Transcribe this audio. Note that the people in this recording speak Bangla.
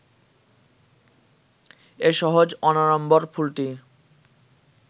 এ সহজ অনাড়ম্বর ফুলটি